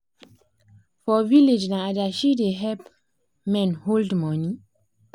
for village na adashi da help men hold money